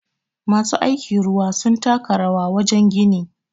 masu aiki ruwa sun taka rawabwajen gini